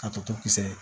Ka toto kisɛ